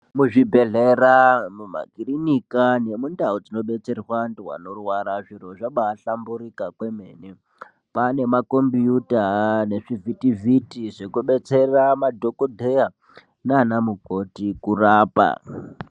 Muzvibhehlera mumakirinika nemundau dzinobetsera vantu vanorwara zviro zvabahlamburika kwemene ,kwanemakombiyuta nezvivhitivhiti zvekubetsera anamukoti kurapa.